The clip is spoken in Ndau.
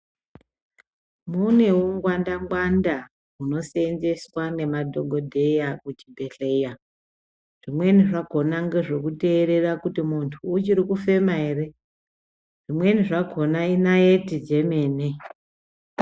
Mune ungwanda ngwanda hunoseenzeswa nemadhokodheya muzvibhedhlera. Zvimweni zvakhona ngezvekuteerera kuti munhu uchiri kufema ere. Zvimweni zvakhona inaiti dzemene.